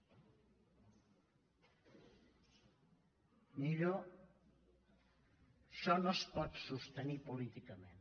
millo això no es pot sostenir políticament